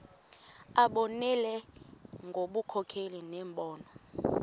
abonelele ngobunkokheli nembono